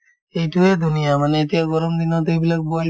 এইটোয়ে ধুনীয়া মানে এতিয়াৰ গৰম দিনত এইবিলাক boil